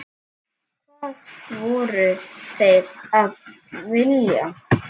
Hvað voru þeir að vilja?